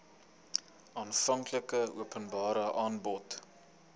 aanvanklike openbare aanbod